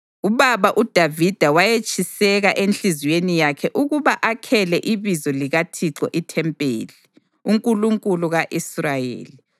Ubaba uDavida wayetshiseka enhliziyweni yakhe ukuba akhele iBizo likaThixo ithempeli, uNkulunkulu ka-Israyeli.